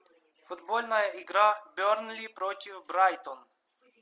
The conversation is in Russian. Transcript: футбольная игра бернли против брайтон